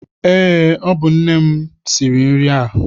Eé, ọ bụ nne m siri nri a.